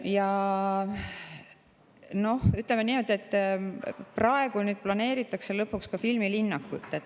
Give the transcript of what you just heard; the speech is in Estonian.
Ja ütleme niimoodi, et praegu planeeritakse lõpuks ka filmilinnakut.